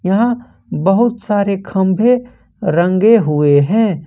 यहां बहुत सारे खंबे रंगे हुए हैं।